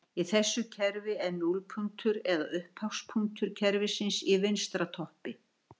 Í þessu kerfi er núllpunktur eða upphafspunktur kerfisins í vinstra toppi.